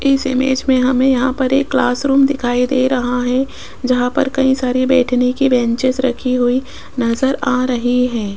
इस इमेज में हमें यहां पर एक क्लास रूम दिखाई दे रहा है जहां पर कई सारी बैठने की बेंचेज रखी हुई नजर आ रही है।